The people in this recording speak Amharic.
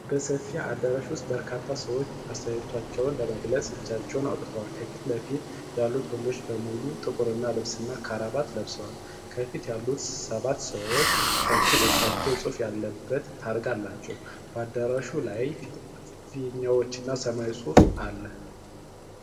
በሰፊ አዳራሽ ውስጥ በርካታ ሰዎች አስተያየታቸውን ለመግለጽ እጃቸውን አውጥተዋል። ከፊት ለፊት ያሉት ወንዶች በሙሉ ጥቁር ልብስና ክራባት ለብሰዋል። ከፊት ያሉት ሰባት ሰዎች ከፊት ለፊታቸው ጽሑፍ ያለበት ታርጋ አላቸው። በአዳራሹ ላይ ፊኛዎችና ሰማያዊ ጽሑፍ አለ፡፡